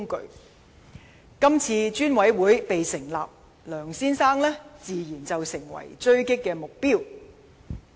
立法會成立專責委員會，梁先生自然成為狙擊目標。